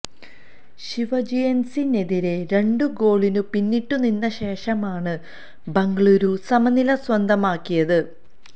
ശിവാജിയന്സിനെതിരേ രണ്ടു ഗോളിന് പിന്നിട്ട് നിന്ന ശേഷമാണ് ബംഗളൂരു സമനില സ്വന്തമാക്കിയത്